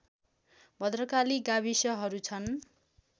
भद्रकाली गाविसहरू छन्